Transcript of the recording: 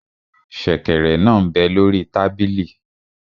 Sẹ̀kẹ̀rẹ̀ náà m bẹ lórí tábìlì